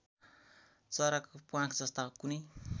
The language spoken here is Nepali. चराको प्वाँखजस्ता कुनै